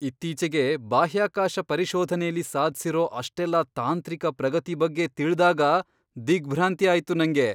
ಇತ್ತೀಚೆಗೆ ಬಾಹ್ಯಾಕಾಶ ಪರಿಶೋಧನೆಲಿ ಸಾಧ್ಸಿರೋ ಅಷ್ಟೆಲ್ಲಾ ತಾಂತ್ರಿಕ ಪ್ರಗತಿ ಬಗ್ಗೆ ತಿಳ್ದಾಗ ದಿಗ್ಭ್ರಾಂತಿ ಆಯ್ತು ನಂಗೆ.